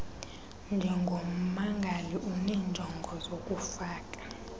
njengommangali unenjongo zokufaka